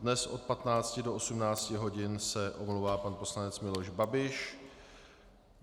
Dnes od 15 do 18 hodin se omlouvá pan poslanec Miloš Babiš.